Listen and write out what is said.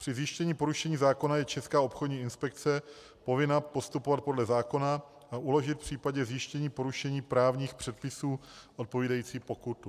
Při zjištění porušení zákona je Česká obchodní inspekce povinna postupovat podle zákona a uložit v případě zjištění porušení právních předpisů odpovídající pokutu.